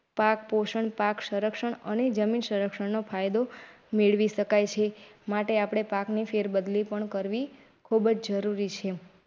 પાક પોષણ, પાક. સંરક્ષણ અને જમીન સંરક્ષણ ફાયદો મેળવી શકાય છે માટે પાકની ફેરબદલી પણ કરવી ખૂબ જરૂરી છે.